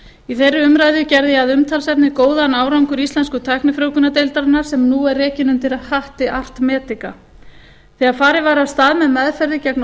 í þeirri umræðu gerði ég að umtalsefni góðan árangur íslensku tæknifrjóvgunardeildarinnar sem nú er rekin undir hatti art medica þegar farið var af stað með meðferðir gegn